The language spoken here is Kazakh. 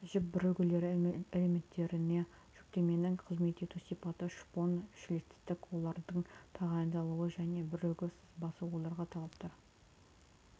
жіп бірігулері элементтеріне жүктеменің қызмет ету сипаты шпон шлицтік олардың тағайындалуы және бірігу сызбасы оларға талаптар